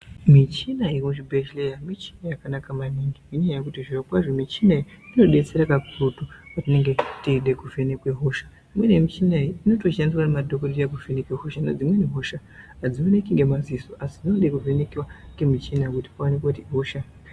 Michina yemuzvibhendleya michina yakanaka maningi ngenyaya yekuti zviro kwazvo inobetsera kakurutu patinenge teida kuvhenekwa hosha. Imweni yemichina iyi inotoshandiswa nemadhokodheya kuvheneka ngekuti dzimweni hosha adzioneki ngemaziso asi dzinoda kuvheneka ngemuchina kuti paonekwe kuti ihosha yakadini.